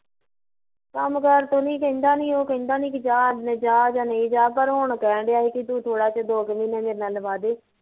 ਕੰਮ ਕਰ ਤੋਂ ਨੀ ਉਹ ਕਹਿੰਦਾ ਨੀ ਜਾ ਕੀ ਜਾ ਜਾਂ ਨਹੀਂ ਜਾ ਪਰ ਹੁਣ ਹੁਣ ਕਹਿਣ ਡੀਆ ਸੀ ਵੀ ਤੂ ਹੁਣ ਥੋੜਾ ਜਿਹਾ ਦੋ ਕੁ ਮਹੀਨੇ ਮੇਰੇ ਨਾਲ਼ ਲਵਾਦੇ